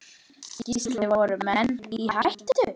Gísli: Voru menn í hættu?